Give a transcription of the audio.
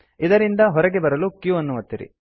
ಇದರಿಂದ ಹೊರಗೆ ಬರಲು q ಒತ್ತಿರಿ